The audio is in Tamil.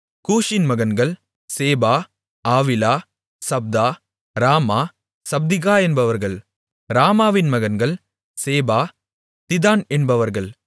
கூஷின் மகன்கள் Seba Havilah Sabtah Raamah Sabtechah என்பவர்கள் ராமாவின் மகன்கள் சேபா திதான் என்பவர்கள்